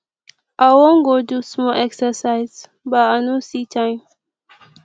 i wan go do small exercise but i no see time